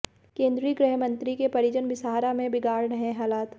केंद्रीय गृह मंत्री के परिजन बिसाहड़ा में बिगाड़ रहे हालात